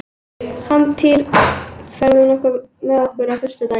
Hjálmtýr, ferð þú með okkur á föstudaginn?